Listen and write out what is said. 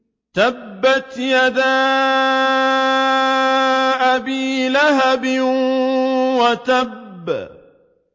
تَبَّتْ يَدَا أَبِي لَهَبٍ وَتَبَّ